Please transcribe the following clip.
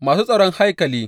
Masu tsaron haikali.